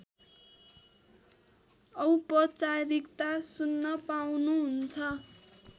औपचारिकता सुन्न पाउनुहुन्छ